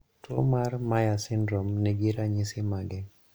Tuo mar Myhre syndrome ni gi ranyisi mage?